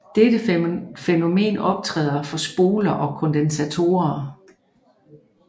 Dette fænomen optræder for spoler og kondensatorer